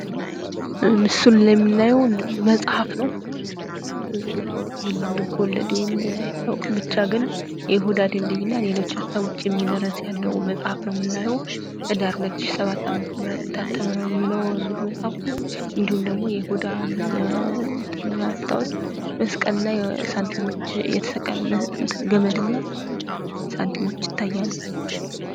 ምስሉ ላይ የምናየው መጽሐፍ ነው እንግዲህ ልብ ወለድ ይሆን አይታወቅም ብቻ ግን የይሁዳ ድልድይ እና ሌሎች ሃሳቦች የሚል ርዕስ ያለው መጽሀፍ ነው የምናየው ህዳር 2007 ዓ.ም የታተመ ነው የሚለው እንግዲህ መጽሐፉ እንዲሁም ደግሞ የይሁዳን እንትን ለማስታወስ መስቀል ላይ ሳንቲሞች፥ የተሰቀለ ገመድ እና ሳንቲሞች ይታያሉ።